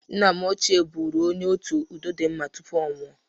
Nne m ochie bụrụ onye otu udodịmma tupu ọ nwọ.